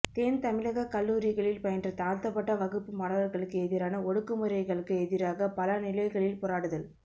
தென்தமிழகக் கல்லூரிகளில் பயின்ற தாழ்த்தப்பட்ட வகுப்பு மாணவர்களுக்கு எதிரான ஒடுக்குமுறைகளுக்கு எதிராக பல நிலைகளில் போராடுதல்